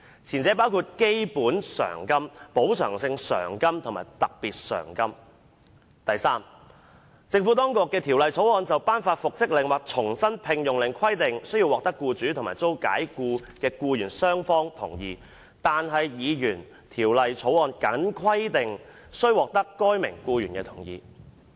前者會包括基本償金、補償性償金及特別償金"；及第三，"政府當局的條例草案就頒發復職令或重新聘用令規定須獲得僱主及遭解僱的僱員雙方同意，但議員條例草案僅規定須獲得該名僱員的同意"。